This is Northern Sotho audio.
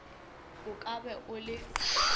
o ka ba o le